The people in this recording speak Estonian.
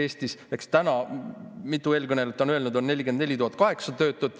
Näiteks täna, mitu eelkõnelejat on öelnud, on 44 800 töötut.